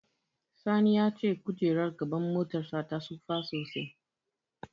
Sani ya ce kojerar gaban motarsa ta tsufa sosai.